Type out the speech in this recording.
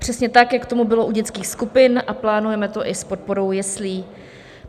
Přesně tak, jak tomu bylo u dětských skupin, a plánujeme to i s podporou jeslí.